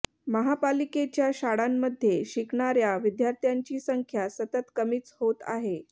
महापालिकेच्या शाळांमध्ये शिकणाऱ्या विद्यार्थ्यांची संख्या सतत कमीच होत आहे